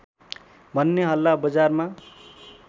भन्ने हल्ला बजारमा